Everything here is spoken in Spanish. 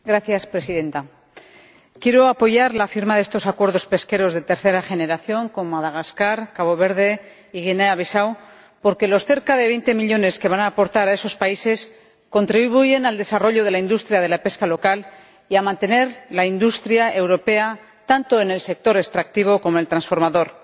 Señora Presidenta, quiero apoyar la firma de estos acuerdos pesqueros de tercera generación con Madagascar, Cabo Verde y Guinea Bisáu porque los cerca de 20 millones de euros que van a aportar a esos países contribuyen a desarrollar la industria de la pesca local y a mantener la industria europea, tanto en el sector extractivo como en el transformador.